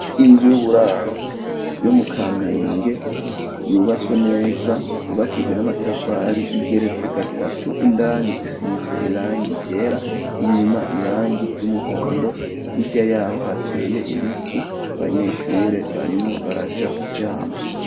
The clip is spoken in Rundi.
Inzu y'uburaro yo mu kamenge yubatswe neza yubakijwe n'amatafari igeretse gatatu indani isize irangi ryera inyuma irangi ry'umuhondo hirya yaho hateye ibiti abanyeshure barimo baraja kuryama.